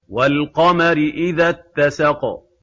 وَالْقَمَرِ إِذَا اتَّسَقَ